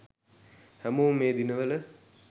හැමෝම මේ දිනවල